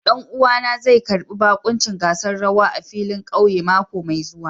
Ɗan'uwana zai karbi bakuncin gasar rawa a filin ƙauye mako mai zuwa.